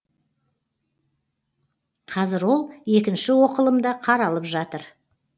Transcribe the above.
қазір ол екінші оқылымда қаралып жатыр